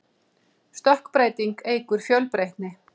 stökkbreyting eykur fjölbreytni